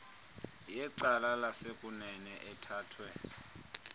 yecala lasekunene ethathwe